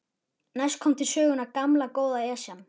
Næst kom til sögunnar gamla, góða Esjan.